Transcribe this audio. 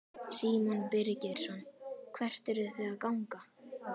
Símon Birgisson: Hvert eruð þið að ganga?